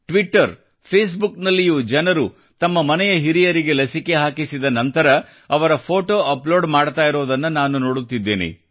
Twitter ಮತ್ತು ಫೇಸ್ ಬುಕ್ನಲ್ಲಿಯೂ ಜನರು ತಮ್ಮ ಮನೆಯ ಹಿರಿಯರಿಗೆ ಲಸಿಕೆ ಹಾಕಿಸಿದ ನಂತರ ಅವರ ಫೋಟೊ ಅಪ್ಲೋಡ್ ಮಾಡ್ತಾ ಇರೋದನ್ನ ನಾನು ನೋಡುತ್ತಿದ್ದೇನೆ